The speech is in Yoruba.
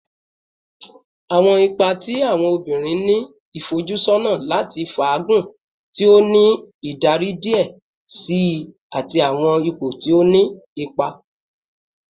Awọn ipa ti awọn obinrin ni ifojusọna lati faagun, ti o ni idari diẹ sii ati awọn ipo ti o ni ipa